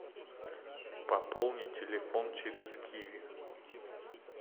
пополнить телефон через киви